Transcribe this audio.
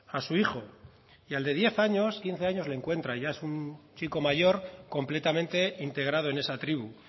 a su hijo y al de diez quince años le encuentra ya es un chico mayor completamente integrado en esa tribu